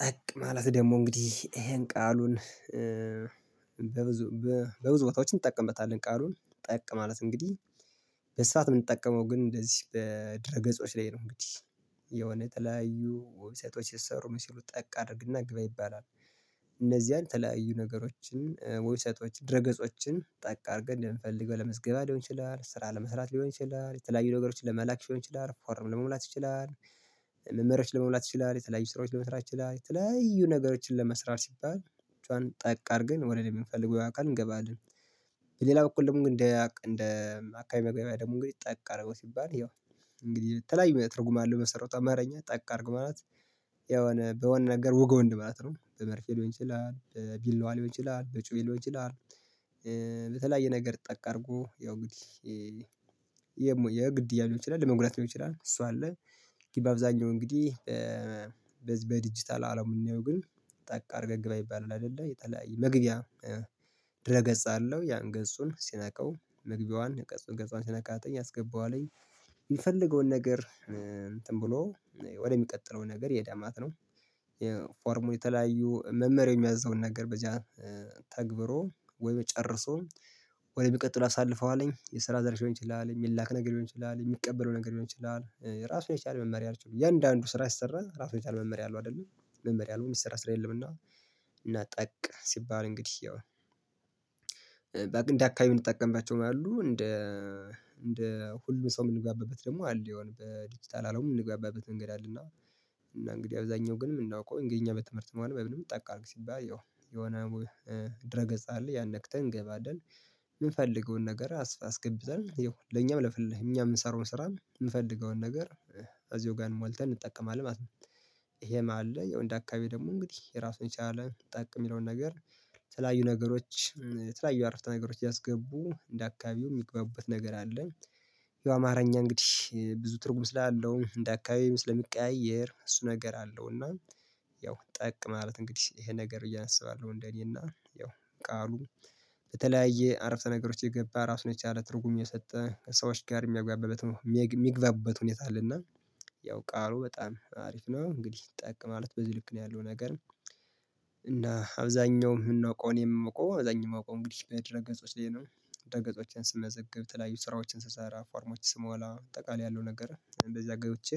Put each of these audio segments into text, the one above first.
ጠቅ ማለት ደግሞ እንግዲህ ይሄን ቃሉን በብዙ ቦታዎች እንጠቀምበታለን ቃሉን ጠቅ ማለት እንግዲህ በስፋት የምንጠቀመው ግን እንደዚህ በድረ ገጾች ላይ ነው እንግዲህ የሆነ ተለያዩ ዌብሳይቶች ስሰሩ ምን ሲሉ ጠቅ አድርግና ግባ ይባላል። እነዚህን ተለያዩ ነገሮችን ዌብስቶች ድረገጾችን ጠቅ አድርገን እንደምንፈልገው ለምዝገባ ሊሆን ይችላል ስራ ለመስራት ሊሆን ይችላል የተለያዩ ነገሮችን ለመላክ ሊሆን ይችላል ፎርም ለመሙላት ይችላል። መመርያዎች ለመሙላት ይችላል የተለያዩ ስራዎች ለመስራት ይችላል የተለያዩ ነገሮችን ለመስራት ሲባል ጫን ጠቅ አድርገን ወደሚፈልገው አካል እንገባለን። በሌላ በኩል ደግሞ እንደ እንደ አካባቢ መግቢያ ደግሞ እንግዲህ ጠቅ አደረገው ሲባል ይኸው እንግዲህ ተለያዩ ትርጉም አለው በመሰረቱ አማርኛ ጠቅ አድርገው ማለት የሆነ በሆነ ነገር ዉጋው እንደማለት ነው በመርፌ ልሆን ይችላል ብላዋ ሊሆን ይችላል በጩቤ ይችላል። በተለያየ ነገር ጠቅ አድርጎ ያው እንግዲህ የምወደው የግድ እያለ ሊሆን ይችላል ለመጉዳት ሊሆን ይችላል እሷ አለ። በዛኛው እንግዲህ በዲጂታል አለም የምንየው ግን ጠቅ አድርገህ ግባ ይባላል አይደለ የተለያየ መግቢያ ድረ ገጽ አለው ያን ገጹን ስነካው መግቢያዋን ገጹን ገጹን ስትነካ አስገባዋለኝ የሚፈልገውን ነገር እንትን ብሎ ወደሚቀጥለው ነገር ይሄዳል ማለት ነው። የፎርሙ የተለያዩ መምህር የሚያዝዘውን ነገር በዚያ ተግብሮ ወይም ጨርሶ ወደ መቀጠል አሳልፈዋለኝ የስራ ዘርፍ ሊሆን ይችላል የሚላክ ነገር ሊሆን ይችላል የሚቀበለው ነገር ሊሆን ይችላል ራሱ የቻለ መመሪያ አለችው እያንዳንዱ ስራ ስሰራ ራሱን የቻለ መመሪያ አለው አይደል መመሪያ አለው የሚሰራ ስራ የለምና። እና ጠቅ ሲባል እንግዲህ ያው እንደ አካባቢ የምንጠቀምባቸው አሉ እንደ እንደ ሁሉም ሰው የምንጋበበት ደግሞ አለ የሆነ በዲጂታል አለው የምንጋባበት መንገድ አለ እና እና እንግዲህ አብዛኛው ግን ምናቀው እንግዲህ እኛ በትምህርት ሆነ በምን ጠቅ አድርግ ሲባል የሆነ ድረ ገጽ አለ ያን ነክተን እንገባለን የምፈልገውን ነገር አስገብተን ይሄው ለኛም ለኛም የምንሰራውን ስራም የምፈልገውን ነገር እዚሁ ጋር ሞልተን እንጠቀማለን ማለት ነው። ይሄ መሃል ላይ ያው እንደ አካባቢ ደግሞ እንግዲህ ራሱን ቻለ ጠቅ የሚለውን ነገር ተለያዩ ነገሮች የተለያዩ አረፍተ ነገሮች እያስገቡ እንደ አካባቢው የሚግባቡበት ነገር አለ። ያው የአማርኛ እንግዲህ ብዙ ትርጉም ስላለው እንደ አካባቢ ስለሚቀያየር እሱ ነገር አለው እና ያው ጠቅ ማለት እንግዲህ ይሄ ነገር ብዬ አስባለሁ እንደኔ እና ያው ቃሉን በተለያየ አረፍተ ነገሮች የገባ ራሱን የቻለ ትርጉም እየሰጠ ከሰዎች ጋር የሚያጓበበት የሚገባበት ሁኔታ አለ እና ያው ቃሉ በጣም አሪፍ ነው። እንግዲህ ጠቅ ማለት በዚህ ልክ ነው ያለው ነገር እና አብዛኛውም ምናቀው እኔም ማቀው አብዛኛውም አውቆ እንግዲህ በድር ገጾች ላይ ነው። ደረ ገጾችን ስመዘግብ ተለያዩ ስራዎችን ስሰራ ፎርሞችን ስሞላ ጠቃላይ ያለው ነገር እንደዚያ ገብቼ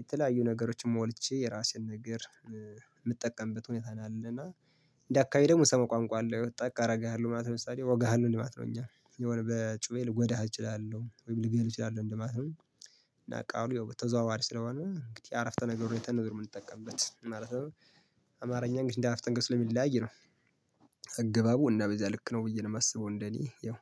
የተለያዩ ነገሮችን ሞልቼ የራሴን ነገር የምጠቀምበት ሁኔታ ነው አለ እና እንደየአካባቢ ደግሞ ሰሞን ቋንቋ አለው ጠቅ አረጋሃለሁ ማለት ለምሳሌ ወጋሃለሁ እንዴ ማለት ነው እኛ የሆነ በጩቤ ልጎዳሃ እችላለሁ ወይም ልገልህ እችላለሁ እንደማለት ነው። ቃሉ በ ተዘዋዋሪ ስለሆነ እንግዲህ አረፍተ ነገሩን የተነገርኩት የምንጠቀምበት ማለት ነው አማርኛ እንግዲህ አፍጠንግስ ለሚል ላይ ነው። አገባቡ እና በዚያ ልክ ነው ብዬ ነው የማስበው እንደኔ ያው